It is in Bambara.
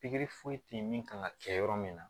Pikiri foyi tɛ ye min kan ka kɛ yɔrɔ min na